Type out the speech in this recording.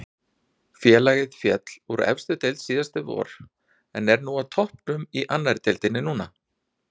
Félagið féll úr efstu deild síðasta vor en er á toppnum í annari deildinni núna.